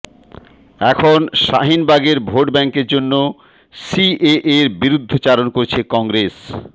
এখন শাহিনবাগের ভোট ব্যাঙ্কের জন্য সিএএর বিরুদ্ধচারণ করছে কংগ্রেস